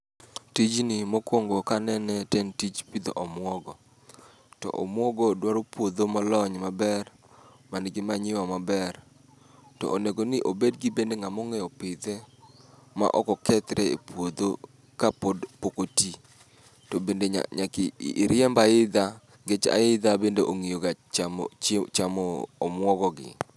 Tijni mokwongo kanene to en tij pidho omwogo. To omwogo dwaro puodho molony maber ma nigi manyiwa maber. To onego ni obed gi bende ng'among'eyo pidhe ma ok okethre e puodho ka pod pok oti. To bende nya nyaki riemb aidha, nikech aidha bende ong'iyoga chi chamo omuogo gi.